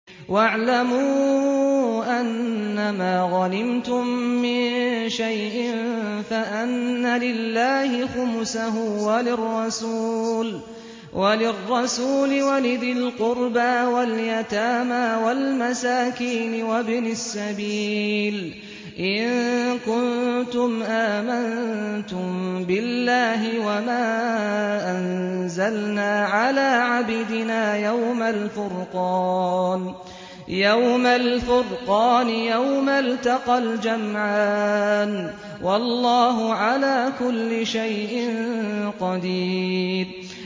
۞ وَاعْلَمُوا أَنَّمَا غَنِمْتُم مِّن شَيْءٍ فَأَنَّ لِلَّهِ خُمُسَهُ وَلِلرَّسُولِ وَلِذِي الْقُرْبَىٰ وَالْيَتَامَىٰ وَالْمَسَاكِينِ وَابْنِ السَّبِيلِ إِن كُنتُمْ آمَنتُم بِاللَّهِ وَمَا أَنزَلْنَا عَلَىٰ عَبْدِنَا يَوْمَ الْفُرْقَانِ يَوْمَ الْتَقَى الْجَمْعَانِ ۗ وَاللَّهُ عَلَىٰ كُلِّ شَيْءٍ قَدِيرٌ